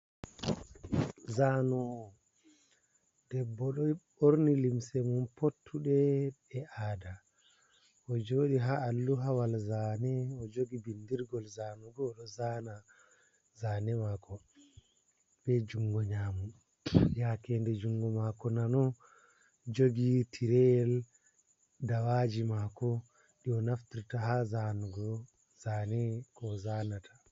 Zano’o debbo ɗo ɓorni limse mun pottuɗe e ada o joɗi ha alluhawal zane o jogi bindirgol zanugo odo zana zane mako be jungo nyamo yake nde jungo mako nano jogi tireyel dawaji mako di o naftirta ha zanugo zane ko o zanata.